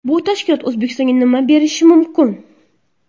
Bu tashkilot O‘zbekistonga nima berishi mumkin?